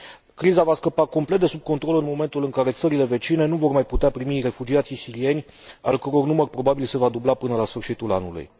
Criza va scăpa complet de sub control în momentul în care țările vecine nu vor mai putea primi refugiații sirieni, al căror număr probabil se va dubla până la sfârșitul anului.